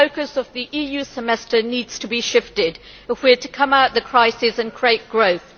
The focus of the EU Semester needs to be shifted if we are to come out of the crisis and create growth.